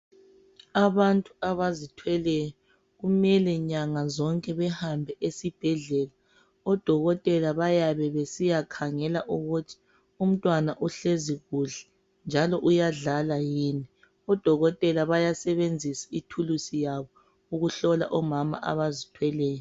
abantu abazithweleyo kumele nyanga zonke behambe esibhedlela odokotela bayabe besiyakhangela ukuthi umntwana uhlezi kuhle njalo uyadlala yini odokotela bayasebenzisa ithulusi yabo ukuhlola omama aazithweleyo